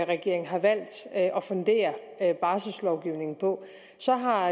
regeringen har valgt at at fundere barsellovgivningen på så har